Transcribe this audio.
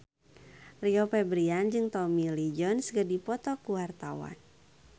Rio Febrian jeung Tommy Lee Jones keur dipoto ku wartawan